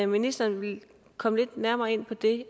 ministeren vil komme lidt nærmere ind på det